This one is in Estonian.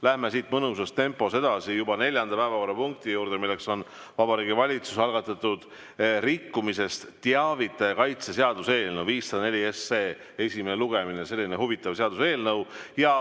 Läheme siit mõnusas tempos edasi juba neljanda päevakorrapunkti juurde, milleks on Vabariigi Valitsuse algatatud rikkumisest teavitaja kaitse seaduse eelnõu 504 esimene lugemine, selline huvitav seaduseelnõu.